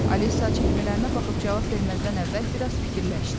Alisa çəkmələrinə baxıb cavab verməzdən əvvəl bir az fikirləşdi.